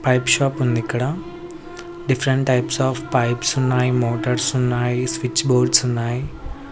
Pipe shop ఉంది ఇక్కడ different types of pipes ఉన్నాయి మోటార్స్ ఉన్నాయి స్విచ్ బోర్డ్స్ ఉన్నాయి.